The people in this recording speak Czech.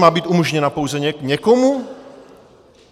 Má být umožněna pouze někomu?